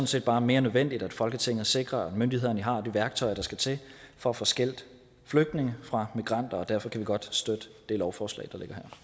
set bare mere nødvendigt at folketinget sikrer at myndighederne har de værktøjer der skal til for at få skilt flygtninge fra migranter og derfor kan vi godt støtte det lovforslag